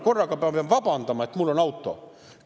Kas ma pean korraga vabandama, et mul on auto?